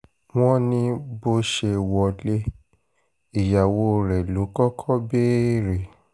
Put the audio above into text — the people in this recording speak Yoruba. wọ́n ní bó ṣe wọlé ìyàwó rẹ̀ ló kọ́kọ́ béèrè